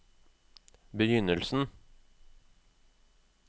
begynnelsen